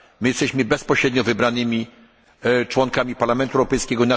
Jesteśmy bezpośrednio wybranymi członkami Parlamentu Europejskiego.